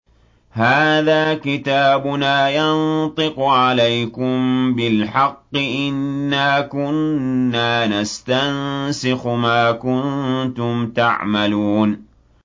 هَٰذَا كِتَابُنَا يَنطِقُ عَلَيْكُم بِالْحَقِّ ۚ إِنَّا كُنَّا نَسْتَنسِخُ مَا كُنتُمْ تَعْمَلُونَ